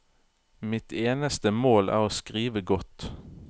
Mitt eneste mål er å skrive godt.